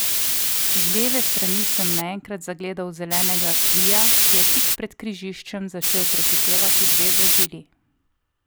Z leve strani sem naenkrat zagledal zelenega clia, ki je tik pred križiščem začel prehitevati dve vozili.